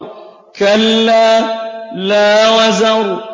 كَلَّا لَا وَزَرَ